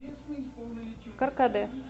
каркаде